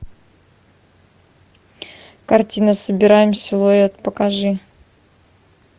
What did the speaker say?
картина собираем силуэт покажи